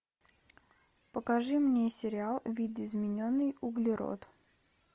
покажи мне сериал видоизмененный углерод